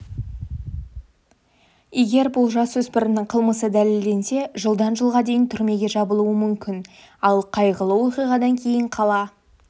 егер бұл жасөспірімнің қылмысы дәлелденсе жылдан жылға дейін түрмеге жабылуы мүмкін ал қайғылы оқиғадан кейін қала